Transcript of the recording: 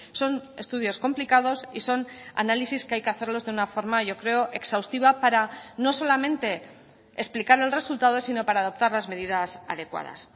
son estudios complicados y son análisis que hay que hacerlos de una forma yo creo exhaustiva para no solamente explicar el resultado sino para adoptar las medidas adecuadas